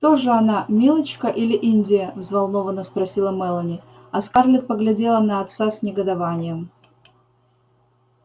кто же она милочка или индия взволнованно спросила мелани а скарлетт поглядела на отца с негодованием